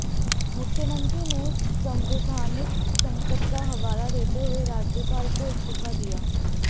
मुख्यमंत्री ने संवैधानिक संकट का हवाला देते हुए राज्यपाल को इस्तीफा दिया